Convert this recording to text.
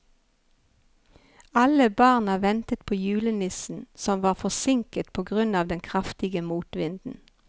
Alle barna ventet på julenissen, som var forsinket på grunn av den kraftige motvinden.